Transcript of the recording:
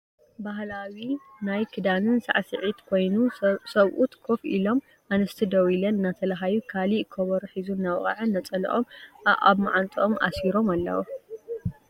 ባህላዊ ናይ ክዳንን ሳዕሰዒት ኮይኑ ሰብኡት ኮፍ ኢሎም ኣንስቲ ደዉ ኢለን እናተላሃዩ ካሊእ ኮቦሮ ሒዙ እናወቅዐ ነፀልኦም ኣኣብ ማዓንጥኦም ኣሲሮም ኣለዉ።